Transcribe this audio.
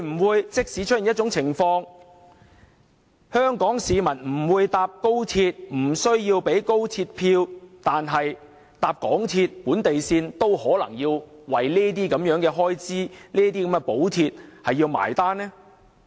會否出現一種情況，就是即使香港市民不乘搭高鐵，不購買高鐵車票，但只乘搭港鐵本地線也要分擔這些開支和補貼？